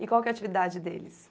E qual que é a atividade deles?